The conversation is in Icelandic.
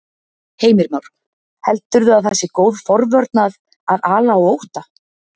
Heimir Már: Heldurðu að það sé góð forvörn að, að ala á ótta?